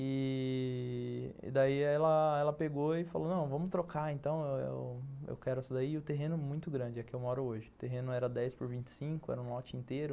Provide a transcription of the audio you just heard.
E... daí ela ela pegou e falou, não, vamos trocar então, eu quero essa daí, e o terreno é muito grande, é que eu moro hoje, o terreno era dez por vinte e cinco, era um lote inteiro.